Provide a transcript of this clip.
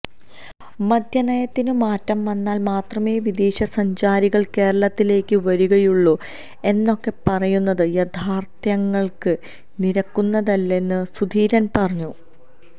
മദ്യനയത്തില് മാറ്റം വന്നാല് മാത്രമേ വിദേശ സഞ്ചാരികള് കേരളത്തിലേക്ക് വരികയുള്ളൂ എന്നൊക്കെ പറയുന്നത് യാഥാര്ത്ഥ്യങ്ങള്ക്ക് നിരക്കുന്നതല്ലെന്നും സുധീരന് പറഞ്ഞു